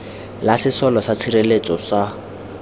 la sesole sa tshireletso sa